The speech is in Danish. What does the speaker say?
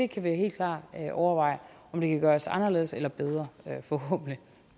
kan helt klart overveje om det kan gøres anderledes eller bedre forhåbentlig